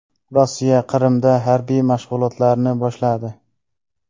Rossiya Qrimda harbiy mashg‘ulotlarni boshladi.